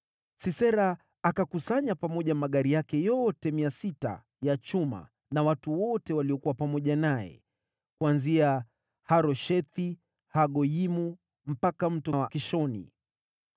Sisera akakusanya pamoja magari yake yote 600 ya chuma na watu wote waliokuwa pamoja naye, kuanzia Haroshethi-Hagoyimu mpaka Mto wa Kishoni.